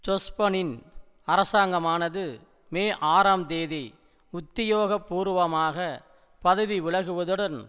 ஜொஸ்பனின் அரசாங்கமானது மே ஆறாம் தேதி உத்தியோகபூர்வமாக பதவிவிலகுவதுடன்